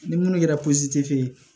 Ni minnu kɛra